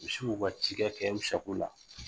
Misi y'u ka ci kɛ kɛ u sako la.